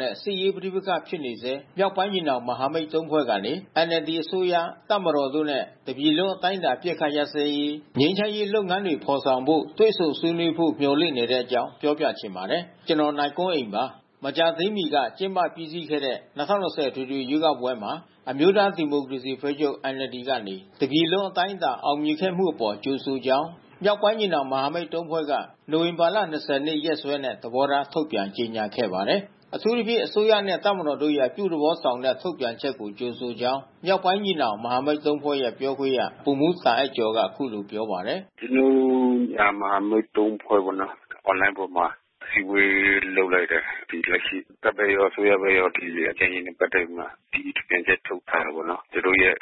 နဲ့ စစ်ရေးပဋိပက္ခဖြစ်နေဆဲ မြောက်ပိုင်းညီနောင်မဟာမိတ် ၃ ဖွဲ့ကနေ NLD အစိုးရ၊ တပ်မတော်တို့နဲ့ တပြည်လုံး အတိုင်းအတာ အပစ်အခတ်ရပ်စဲရေး ငြိမ်းချမ်းရေးလုပ်ငန်းတွေ ဖော်ဆောင်ဖို့ တွေ့ဆုံဆွေးနွေးဖို့ မျှော်လင့်နေကြပါတယ်။ အပြည့်အစုံကို နိုင်ကွန်းအိန် တင်ပြပေးထားပါတယ်။ မကြာသေးမီက ကျင်းပပြီးစီးခဲ့တဲ့ ၂၀၂၀ အထွေထွေရွေးကောက်ပွဲမှာ အမျိုးသားဒီမိုကရေစီအဖွဲ့ချုပ် (NLD) ကနေ တပြည်လုံးအတိုင်းအတာ အောင်မြင်ခဲ့မှုအပေါ် ကြိုဆိုကြောင်း မြောက်ပိုင်းညီနောင်မဟာမိတ် ၃ ဖွဲ့က နိုဝင်ဘာလ ၂၀ ရက်နေ့ ရက်စွဲနဲ့ သဘောထား ထုတ်ပြန်ကြေညာခဲ့ပါတယ်။ အထူးသဖြင့် အစိုးရနဲ့ တပ်မတော်တို့ရဲ့ အပြုသဘောဆောင်တဲ့ ထုတ်ပြန်ချက်ကို ကြိုဆိုကြောင်း မြောက်ပိုင်းညီနောင်မဟာမိတ် ၃ ဖွဲ့ရဲ့ ပြောခွင့်ရ ဗိုလ်မှူးတာအိုက်ကျော်က အခုလိုပြောပါတယ်။ “ကျနော်တို့ ညီနောင်မဟာမိတ် ၃ ဖွဲ့ပေါ့နော်။ Online ပေါ်မှာ အစည်းအဝေး လုပ်လိုက်တယ်။ ဒီလက်ရှိတပ်ဘက်ရော အစိုးရဘက်ရော ဒီ ငြိမ်းချမ်းရေးနဲ့ ပတ်သက်ပြီးမှ အသီးသီး ကြေညာချက်ထုတ်ထားတယ်ပေါ့နော်။ သူတို့ရဲ့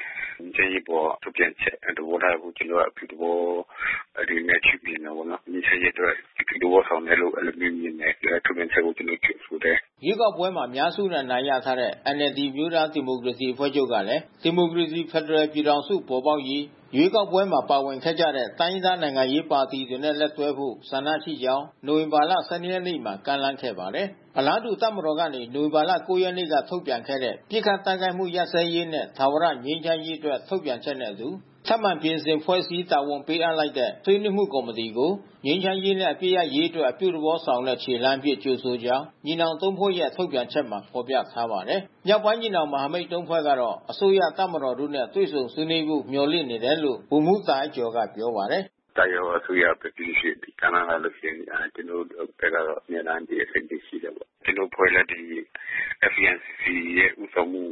ငြိမ်းချမ်းရေးအပေါ် ထုတ်ပြန်ချက် သဘောထားတွေကို ကျနော်တို့က အပြုသဘောအနေနဲ့ ရှုမြင်တယ်ပေါ့နော်။ ငြိမ်းချမ်းရေးအတွက် အပြုသဘောဆောင်တယ်လို့ အဲဒီလိုမျိုးမြင်တယ်။ အဲဒီထုတ်ပြန်ချက်ကို ကျနော်တို့ ကြိုဆိုတယ်။” ရွေးကောက်ပွဲမှာ အများစုနဲ့ အနိုင်ရထားတဲ့ NLD အမျိုးသားဒီမိုကရေစီအဖွဲ့ချုပ်ကလည်း ဒီမိုကရေစီ ဖက်ဒရယ်ပြည်ထောင်စု ပေါ်ပေါက်ရေး ရွေးကောက်ပွဲမှာ ပါဝင်ခဲ့ကြတဲ့ တိုင်းရင်းသား နိုင်ငံရေးပါတီတွေနဲ့ လက်တွဲဖို့ ဆန္ဒရှိကြောင်း နိုဝင်ဘာ ၁၂ ရက်နေ့မှာ ကမ်းလှမ်းခဲ့ပါတယ်။ အလားတူ တပ်မတော်ကနေ နိုဝင်ဘာ ၉ ရက်က ထုတ်ပြန်ခဲ့တဲ့ ပစ်ခတ်တိုက်ခိုက်မှု ရပ်စဲရေးနဲ့ ထာဝရငြိမ်းချမ်းရေးအတွက် ထုတ်ပြန်ချက်နဲ့အတူ ထပ်မံပြင်ဆင်ဖွဲ့စည်း တာဝန်ပေးအပ်လိုက်တဲ့ ဆွေးနွေးမှုကော်မတီကို ငြိမ်းချမ်းရေးနဲ့ အပစ်ရပ်ရေးအတွက် အပြုသဘောဆောင်တဲ့ ခြေလှမ်းအဖြစ် ကြိုဆိုကြောင်း ညီနောင် ၃ ဖွဲ့ရဲ့ ထုတ်ပြန်ချက်မှာ ဖော်ပြထားပါတယ်။ မြောက်ပိုင်းညီနောင်မဟာမိတ် ၃ ဖွဲ့ကတော့ အစိုးရ၊ တပ်မတော်တို့နဲ့ တွေ့ဆုံဆွေးနွေးဖို့ မျှော်လင့်နေတယ်လို့ ဗိုလ်မှူးတာအိုက်ကျော်က ပြောပါတယ်။ “တပ်ရော အစိုးရဘက် ပြီးလို့ရှိရင် ကမ်းလှမ်းလာခဲ့ရင် ကျနော်တို့ဘက်ကတော့ အမြဲတမ်း အသင့်ပြင်ရှိတယ်ပေါ့။ ကျနော်တို့အဖွဲ့လည်း ဒီ FPNCC ဦးဆောင်မှု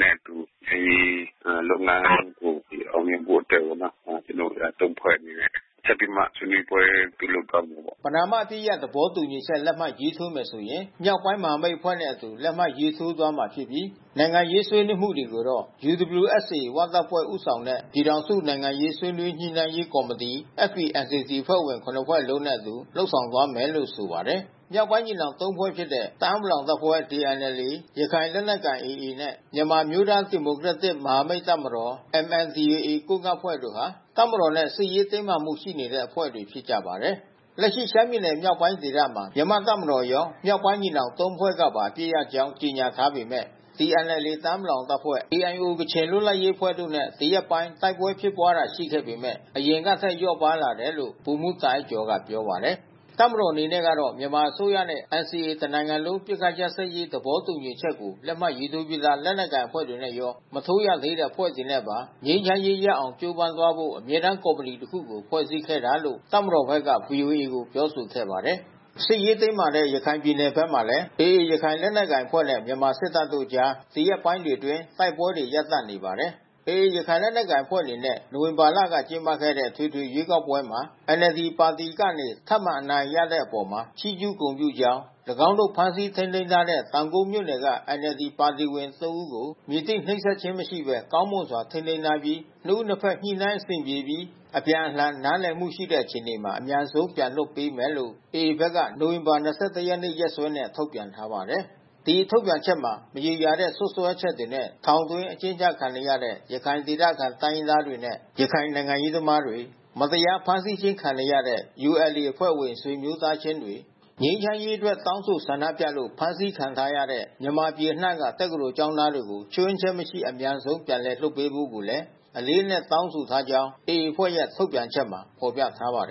နဲ့အတူ ငြိမ်းချမ်းရေးလုပ်ငန်းကို အောင်မြင်ဖို့အတွက်ပေါ့နော်။ ကျနော်တို့ ၃ ဖွဲ့အနေနဲ့ ဆက်ပြီးမှ ဆွေးနွေးပွဲ ပြုလုပ်သွားဖို့ပေါ့။” ပဏာမအပစ်ရပ် သဘောတူညီချက် လက်မှတ်ရေးထိုးမယ်ဆိုရင် မြောက်ပိုင်းမဟာမိတ်အဖွဲ့နဲ့အတူ လက်မှတ်ရေးထိုးသွားမှာဖြစ်ပြီး နိုင်ငံရေး ဆွေးနွေးမှုတွေကိုတော့ UWSA ဝတပ်ဖွဲ့ဦးဆောင်တဲ့ ပြည်ထောင်စု နိုင်ငံရေး ဆွေးနွေးညှိနှိုင်းရေးကော်မတီ FPNCC အဖွဲ့ဝင် ၇ ဖွဲ့လုံးနှင့်အတူ လုပ်ဆောင်သွားမယ်လို့ ဆိုပါတယ်။ မြောက်ပိုင်းညီနောင်သုံးဖွဲ့ဖြစ်တဲ့ တအာင်းပလောင်အဖွဲ့ (TNLA)၊ ရခိုင်လက်နက်ကိုင် (AA) နဲ့ မြန်မာအမျိုးသားဒီမိုကရက်တစ် မဟာမိတ်တပ်မတော် (MNDAA)၊ ကိုးကန့်အဖွဲ့တို့ဟာ တပ်မတော်နဲ့ စစ်ရေးတင်းမာမှုတွေရှိတဲ့ အဖွဲ့တွေဖြစ်ပါတယ်။ လက်ရှိ ရှမ်းပြည်နယ်မြောက်ပိုင်းဒေသမှာ မြန်မာတပ်မတော်ရော မြောက်ပိုင်းညီနောင် ၃ ဖွဲ့ကပါ အပစ်ရပ်ကြောင်း ကြေညာထားပေမယ့် TNLA တအာင်းပလောင်အဖွဲ့၊ KIO ကချင်လွတ်လပ်ရေးအဖွဲ့တို့နဲ့ ဒီရက်ပိုင်း တိုက်ပွဲဖြစ်ပွားတာ ရှိပေမယ့် အရင်ကထက် လျော့ပါးလာနေတယ်လို့ ဗိုလ်မှူးတာအိုက်ကျော်က ပြောပါတယ်။ တပ်မတော်အနေနဲ့ကတော့ မြန်မာအစိုးရနဲ့ NCA တနိုင်ငံလုံး အပစ်အခတ်ရပ်စဲရေး သဘောတူညီချက်ကို လက်မှတ်ရေးထိုးပြီးသား လက်နက်ကိုင်အဖွဲ့တွေနဲ့ရော မထိုးရသေးတဲ့ အဖွဲ့တွေနဲ့ပါ ငြိမ်းချမ်းရေးရအောင် ကြိုးပမ်းသွားဖို့ အမြဲတမ်းကော်မတီတခုကို ဖွဲ့စည်းခဲ့တာလို့ တပ်မတော်ဘက်က ဗွီအိုအေကို ပြောဆိုခဲ့ပါတယ်။ စစ်ရေးတင်းမာနေတဲ့ ရခိုင်ပြည်နယ်ဘက်မှာလည်း AA ရခိုင်လက်နက်ကိုင်အဖွဲ့နဲ့ မြန်မာစစ်တပ်တို့အကြား ဒီရက်ပိုင်းတွေအတွင်း တိုက်ပွဲတွေ ရပ်တန့်နေပါတယ်။ AA ရခိုင်လက်နက်ကိုင်အဖွဲ့ အနေနဲ့ နိုဝင်ဘာလက ကျင်းပခဲ့တဲ့ အထွေထွေရွေးကောက်ပွဲမှာ NLD ပါတီအနေနဲ့ ထပ်မံအနိုင်ရတဲ့အပေါ် ချီးကျူးဂုဏ်ပြုကြောင်း၊ ၎င်းတို့ ဖမ်းဆီးထိန်းသိမ်းထားတဲ့ တောင်ကုတ်မြို့နယ်က NLD ပါတီဝင် ၃ ဦးကို မည်သည့်နှိပ်စက်ခြင်းမှ မရှိဘဲ ကောင်းမွန်စွာ ထိန်းသိမ်းထားပြီး နှစ်ဦးနှစ်ဖက် ညှိနှိုင်းအဆင်ပြေပြီး အပြန်အလှန် နားလည်မှုရှိတဲ့ အခြေအနေမှာ အမြန်ဆုံး ပြန်လွှတ်ပေးမယ်လို့ AA ဘက်က နိုဝင်ဘာ ၂၁ ရက်နေ့ ရက်စွဲနဲ့ ထုတ်ပြန်ထားပါတယ်။ ဒီထုတ်ပြန်ချက်မှာ မရေရာတဲ့ စွပ်စွဲချက်တွေနဲ့ ထောင်သွင်းအကျဉ်းချခံနေရတဲ့ ရခိုင်ဒေသခံ တိုင်းရင်းသားတွေနဲ့ ရခိုင်နိုင်ငံရေးသမားတွေ၊ မတရားဖမ်းဆီးခြင်း ခံနေရတဲ့ ULA အဖွဲ့ဝင် ဆွေမျိုးသားချင်းတွေ ငြိမ်းချမ်းရေးအတွက် တောင်းဆိုဆန္ဒပြလို့ ဖမ်းဆီးခံထားရတဲ့ မြန်မာပြည်အနှံ့မှ တက္ကသိုလ်ကျောင်းသားတွေကို ခြွင်းချက်မရှိ အမြန်ဆုံး ပြန်လည်လွှတ်ပေးဖို့ကိုလည်း အလေးအနက်တောင်းဆိုကြောင်း AA ရဲ့ ထုတ်ပြန်ချက်မှာ ဖော်ပြထားပါတယ်